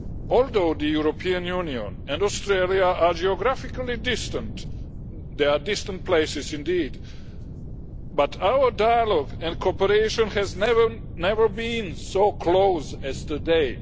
Although the European Union and Australia are geographically distant they are distant places indeed our dialogue and cooperation has never been so close as today.